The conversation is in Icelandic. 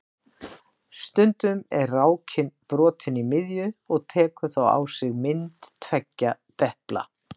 Stundum er rákin brotin í miðju og tekur þá á sig mynd tveggja depla.